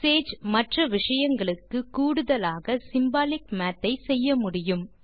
Sage மற்ற விஷயங்களுக்கு கூடுதலாக சிம்பாலிக் மாத் ஐ செய்ய முடியும்